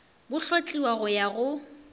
bo hlotliwa go ya go